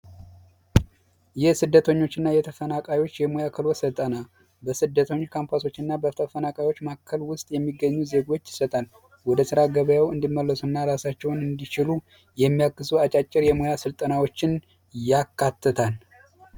የስደተኞችና የተፈናቃዮች የሙያ ክህሎት ስልጠና፦ በስደተኞች ካምፓሶችና በተፈናቃዮች መካከል ውስጥ የሚገኙ ዜጎችን ይሰጣል፤ ወደ ስራ ገበያው እንዲመለሱ እና ራሳቸውን እንዲችሉ የሚያግዙ አጫጭር ስልጠናዎችን ያካትታል።